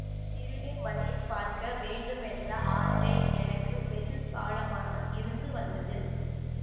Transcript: திருநீர்மலையைப் பார்க்க வேண்டுமென்ற ஆசை எனக்கு வெகு காலமாக இருந்து வந்தது